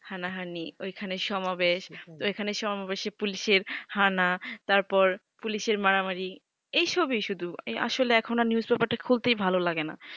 হানা হানি ওই খান এ সমা বেশ ওই খানে সম বেসে পুলিশ এর হানা তারপর পুলিশ এর মারামারি এই সবই সুদু এই আসলে এখন আর নিউস পেপার টা খুলতেই ভালো লাগে না